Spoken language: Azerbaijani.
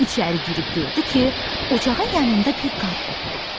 İçəri girib gördü ki, ocağın yanında bir qarı oturub.